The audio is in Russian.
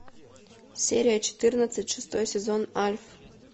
серия четырнадцать шестой сезон альф